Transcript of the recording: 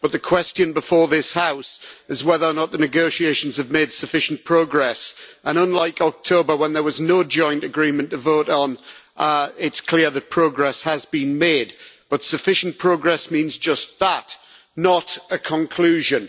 But the question before this House is whether or not the negotiations have made sufficient progress, and unlike October when there was no joint agreement to vote on it is clear that progress has been made, but sufficient progress means just that not a conclusion.